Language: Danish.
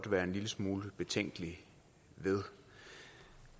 være en lille smule betænkelig ved